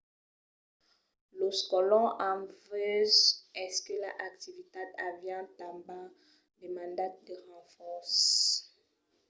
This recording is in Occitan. los colons en vesent aquela activitat avián tanben demandat de renfòrces